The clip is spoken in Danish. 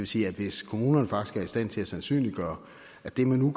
sige at hvis kommunerne faktisk er i stand til at sandsynliggøre at det man nu